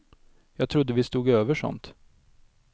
Jag trodde vi stod över sånt.